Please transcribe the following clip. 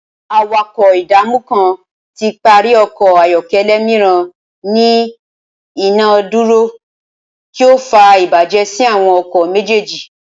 Awakọ idamu kan ti pari ọkọ ayọkẹlẹ miiran ni ina iduro, ti o fa ibajẹ si awọn ọkọ mejeeji.